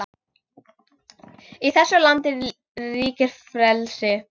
Í þessu landi ríkir frelsi!